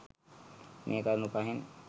මේ කරුණු පහෙන්